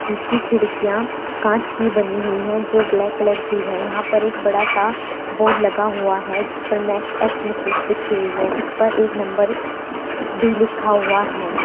जिसकी खिड़कियां कांच की बनी हुई है जो ब्लैक कलर की है यहां पर एक बड़ा सा बोर्ड लगा हुआ है जिस पर मैक्स एक्स मसल्स लिखी हुई है उस पर एक नंबर भी लिखा हुआ है।